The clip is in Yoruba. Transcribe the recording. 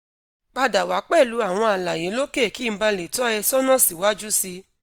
pada wa pẹlu awọn alaye loke ki n bale to e sona si waju si